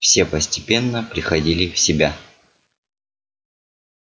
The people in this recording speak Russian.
все постепенно приходили в себя